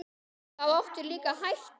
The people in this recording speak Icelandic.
Þá áttu líka að hætta.